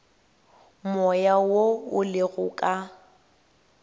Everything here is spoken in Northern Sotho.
moya wo o lego ka